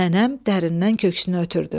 Nənəm dərindən köksünə ötürdü.